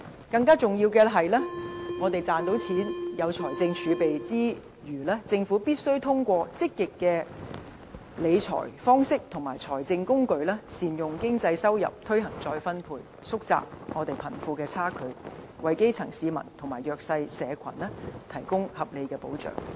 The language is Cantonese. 更重要是，我們在賺錢，具備財政儲備之餘，政府必須通過積極理財方式和財政工具善用經濟收入，推行再分配，縮窄貧富差距，為基層市民和弱勢社群提供合理的保障。